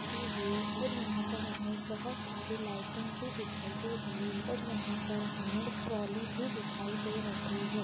के हुए है पर यहाँ पर हमें बहुत सारे लाइटिंग भी दिखाई दे रही हैं और यहाँ पर हमें एक ट्रॉली भी दिखाई दे रही है।